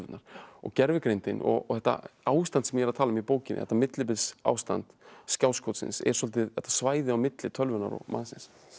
og gervigreindin og þetta ástand sem ég er að tala um í bókinni þetta millibilsástand skjáskotsins er svolítið þetta svæði á milli tölvunnar og mannsins